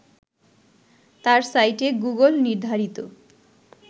তার সাইটে গুগল নির্ধারিত